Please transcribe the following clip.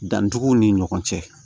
Dantuguw ni ɲɔgɔn cɛ